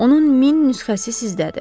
Onun min nüsxəsi sizdədir.